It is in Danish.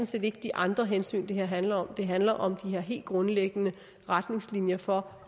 set ikke de andre hensyn det her handler om det handler om de her helt grundlæggende retningslinjer for